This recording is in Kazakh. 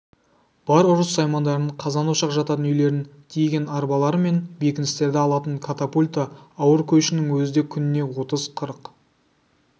бар ұрыс саймандарын қазан-ошақ жататын үйлерін тиеген арбалары мен бекіністерді алатын катапульті ауыр көшінің өзі де күніне отыз-қырық